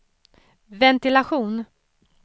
ventilation